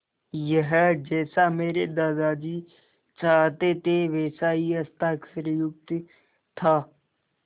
यह जैसा मेरे दादाजी चाहते थे वैसा ही हस्ताक्षरयुक्त था